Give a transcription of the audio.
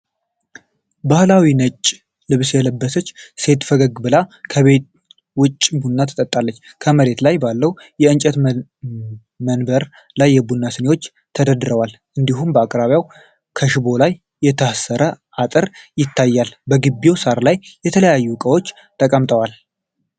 ባህላዊ ነጭ ልብስ የለበሰች ሴት ፈገግ ብላ ከቤት ውጪ ቡና ትጠብሳለች። ከመሬት ላይ ባለው የእንጨት መንበሪ ላይ የቡና ስኒዎች ተደርድረዋል፡፡ እንዲሁም በአቅራቢያዋ ከሽቦ ላይ የታሰረ አጥር ይታያል። በግቢው ሣር ላይ የተለያዩ እቃዎች ተቀምጠዋል።